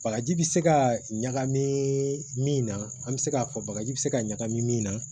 Bagaji bi se ka ɲagami min na an bɛ se k'a fɔ bagaji bɛ se ka ɲagami min na